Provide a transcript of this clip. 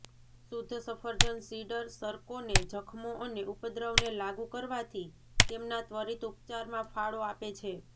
શુદ્ધ સફરજન સીડર સરકોને જખમો અને ઉપદ્રવને લાગુ કરવાથી તેમના ત્વરિત ઉપચારમાં ફાળો આપે છે